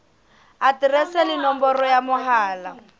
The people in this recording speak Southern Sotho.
aterese le nomoro ya mohala